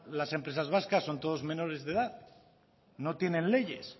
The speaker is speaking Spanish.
las empresas vascas son todos menores de edad no tienen leyes